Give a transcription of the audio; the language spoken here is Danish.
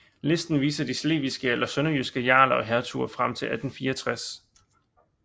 Listen viser de slesvigske eller sønderjyske jarler og hertuger frem til 1864